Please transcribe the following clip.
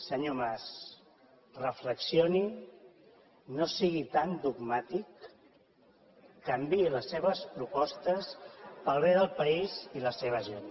senyor mas reflexioni no sigui tan dogmàtic canviï les seves propostes per al bé del país i la seva gent